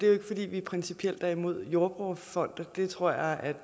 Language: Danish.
jo ikke fordi vi principielt er imod jordbrugerfonden det tror jeg at